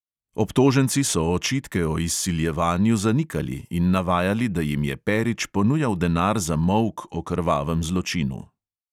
Obtoženci so očitke o izsiljevanju zanikali in navajali, da jim je perič ponujal denar za molk o krvavem zločinu.